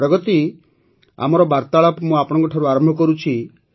ପ୍ରଗତି ଆମର ବାର୍ତ୍ତାଳାପ ମୁଁ ଆପଣଙ୍କ ଠାରୁ ଆରମ୍ଭ କରୁଛି